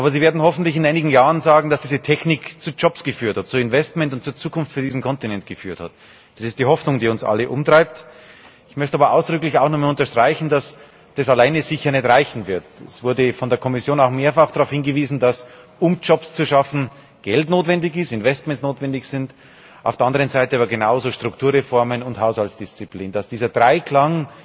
Aber sie werden hoffentlich in einigen Jahren sagen, dass diese Technik zu Jobs, zu Investitionen und zu Zukunft für diesen Kontinent geführt hat. Das ist die Hoffnung, die uns alle umtreibt. Ich möchte aber ausdrücklich auch noch einmal unterstreichen, dass das alleine sicher nicht reichen wird. Es wurde von der Kommission auch mehrfach darauf hingewiesen, dass um Jobs zu schaffen Geld notwendig ist, dass Investitionen notwendig sind, auf der anderen Seite aber genauso Strukturreformen und Haushaltsdisziplin, dass dieser Dreiklang